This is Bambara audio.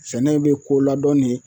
Sɛnɛw be ko ladɔn ne